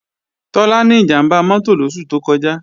Tọ́lá ní ìjàmbá mọ́tò lóṣù tó kọjá